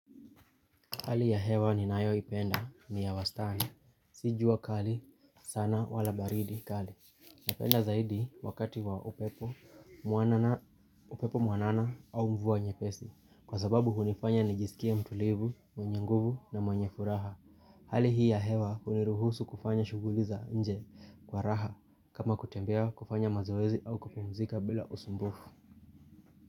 Hali ya hewa ninayoipenda ni ya wastani. Si jua kali sana wala baridi kali. Napenda zaidi wakati wa upepo mwanana au mvua nyepesi. Kwa sababu hunifanya nijisikie mtulivu, mwenye nguvu na mwenye furaha. Hali hii ya hewa huniruhusu kufanya shughuli za nje kwa raha kama kutembea kufanya mazoezi au kupumzika bila usumbufu.